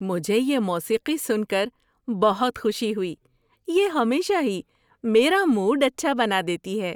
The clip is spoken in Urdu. مجھے یہ موسیقی سن کر بہت خوشی ہوئی۔ یہ ہمیشہ ہی میرا موڈ اچھا بنا دیتی ہے۔